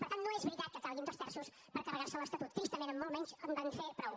per tant no és veritat que calguin dos terços per carregar se l’estatut tristament amb molt menys en van fer prou